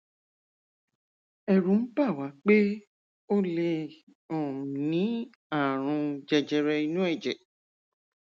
ẹrù ń bà wá pé ó lè um ní ààrùn jẹjẹrẹ inú ẹjẹ